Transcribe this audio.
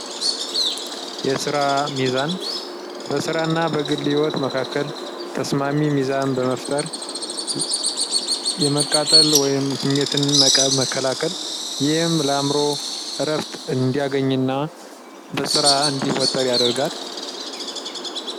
የስራ ሚዛን በስራና በግል ህይወት መካከል ተስማሚ በመፍጠር የመቃጠል ወይም ስሜት መከላከል ይህም የአእምሮ እረፍት እንዲያገኝና በስራ እንዲወጠር ያደርጋል።